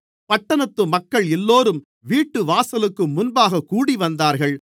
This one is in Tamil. பட்டணத்து மக்கள் எல்லோரும் வீட்டுவாசலுக்கு முன்பாகக் கூடிவந்தார்கள்